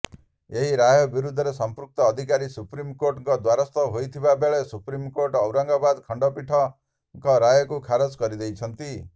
ଏହି ରାୟ ବିରୋଧରେ ସମ୍ପୃକ୍ତ ଅଧିକାରୀ ସୁପ୍ରିମକୋର୍ଟଙ୍କ ଦ୍ୱାରସ୍ଥ ହୋଇଥିବା ବେଳେ ସୁପ୍ରିମକୋର୍ଟ ଔରଙ୍ଗାବାଦ୍ ଖଣ୍ଡପୀଠଙ୍କ ରାୟକୁ ଖାରଜ କରିଦେଇଛନ୍ତି